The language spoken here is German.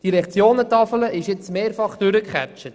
Die Lektionentafel wurde mehrmals durchgeackert.